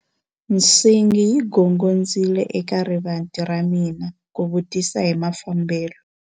Nsingi yi gongondzile eka rivanti ra hina ku vutisa hi mafambelo.